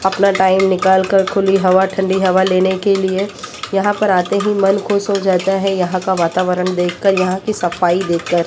अपना टाइम निकाल कर खुली हवा ठंडी हवा लेने के लिए यहां पर आते ही मन खुश हो जाता है यहां का वातावरण देखकर यहां की सफाई देखकर।